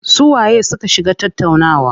Su waye su ka shiga tattaunawa?